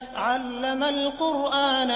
عَلَّمَ الْقُرْآنَ